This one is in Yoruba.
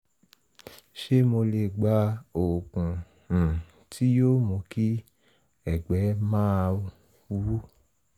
ṣé mo lè gba oògùn um tí yóò mú kí ẹ̀gbẹ́ máa wú?